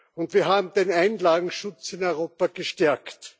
Und wir haben den Einlagenschutz in Europa gestärkt.